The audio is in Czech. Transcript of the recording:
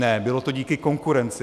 Ne, bylo to díky konkurenci.